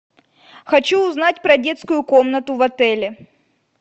хочу узнать про детскую комнату в отеле